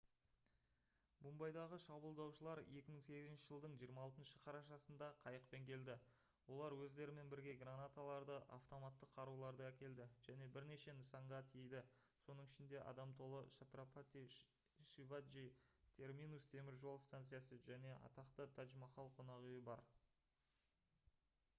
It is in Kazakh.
мумбайдағы шабуылдаушылар 2008 жылдың 26 қарашасында қайықпен келді олар өздерімен бірге гранаталарды автоматтық қаруларды әкелді және бірнеше нысанаға тиді соның ішінде адам толы чатрапати шиваджи терминус теміржол станциясы және атақты тадж-махал қонақүйі бар